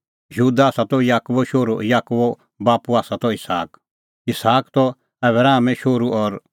यहूदा त याकूबो शोहरू और याकूबो बाप्पू त इसहाक इसहाक त आबरामो शोहरू और आबराम त तिरहो शोहरू तिरहो बाप्पू त नाहोर